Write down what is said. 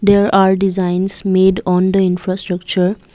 there are designs made on the infrastructure.